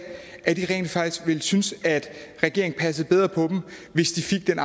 rent faktisk vil synes at regeringen passede bedre på dem hvis de fik den